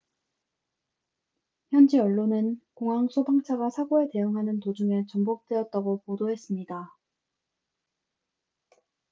현지 언론은 공항 소방차가 사고에 대응하는 도중에 전복되었다고 보도했습니다